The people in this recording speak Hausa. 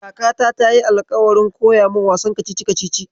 Kakata tayi alƙawarin koya min wasan kacici-kacici.